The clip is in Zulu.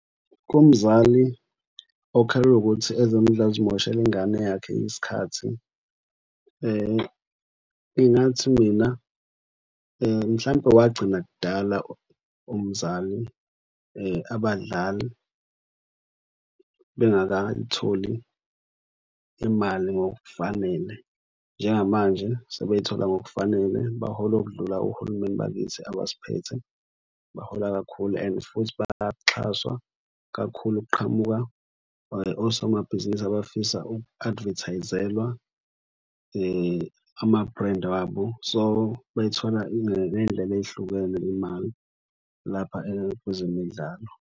Umzali okhalelwa ukuthi ezemidlalo zimoshela ingane yakhe sikhathi. Ngingathi mina mhlampe wagcina kudala umzali abadlali bengakayitholi imali ngokufanele. Njengamanje sebeyithola ngokufanele bahola okudlula ohulumeni bakithi abasiphethe bahola kakhulu and futhi bayaxhaswa kakhulu. Kuqhamuka osomabhizinisi abafisa uku-advertise-elwa ama-brand wabo. So, bayithola ngey'ndlela ey'hlukene imali lapha kwezemidlalo.